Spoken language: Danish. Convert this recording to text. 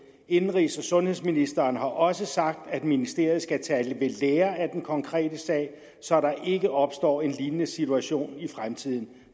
indenrigs og sundhedsministeren har også sagt at ministeriet skal tage ved lære af den konkrete sag så der ikke opstår en lignende situation i fremtiden